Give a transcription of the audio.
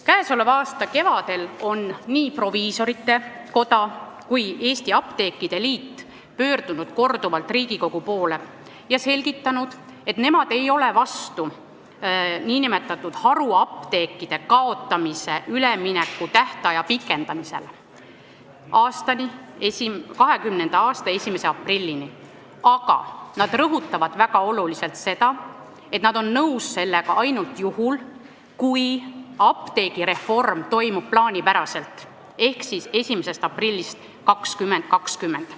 Käesoleva aasta kevadel pöördusid nii proviisorite koda kui ka apteekrite liit korduvalt Riigikogu poole ja selgitasid, et nemad ei ole vastu nn haruapteekide kaotamise üleminekutähtaja pikendamisele 2020. aasta 1. aprillini, aga nad rõhutavad väga olulisena seda, et nad on sellega nõus ainult juhul, kui apteegireform toimub plaanipäraselt ehk 1. aprillist 2020.